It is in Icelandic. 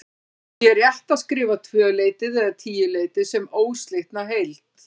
Því er rétt að skrifa tvöleytið eða tíuleytið sem óslitna heild.